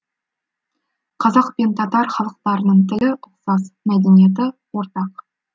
қазақ пен татар халықтарының тілі ұқсас мәдениеті ортақ